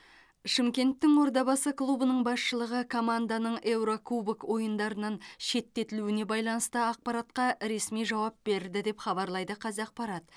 шымкенттің ордабасы клубының басшылығы команданың еурокубок ойындарынан шеттетілуіне байланысты ақпаратқа ресми жауап берді деп хабарлайды қазақпарат